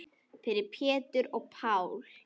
Fyrir Pétur og Pál.